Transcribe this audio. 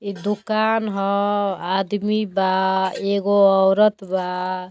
इ दुकान ह। आदमी बा एगो औरत बा।